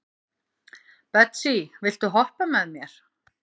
Betsý, viltu hoppa með mér?